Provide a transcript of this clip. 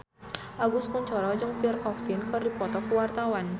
Agus Kuncoro jeung Pierre Coffin keur dipoto ku wartawan